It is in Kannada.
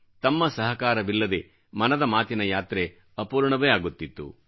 ತಮ್ಮ ಸಹಕಾರವಿಲ್ಲದೆ ಮನದ ಮಾತಿನ ಯಾತ್ರೆ ಅಪೂರ್ಣವೇ ಆಗುತ್ತಿತ್ತು